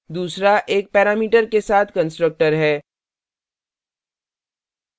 दूसरा एक parameter के साथ constructor है